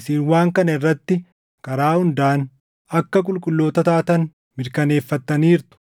Isin waan kana irratti karaa hundaan akka qulqulloota taatan mirkaneeffattaniirtu.